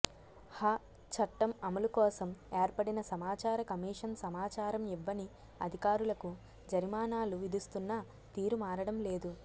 హ చట్టం అమలుకోసం ఏర్పడిన సమాచార కమిషన్ సమాచారం ఇవ్వని అధికారులకు జరిమానాలు విధిస్తున్నా తీరు మారడం లేదు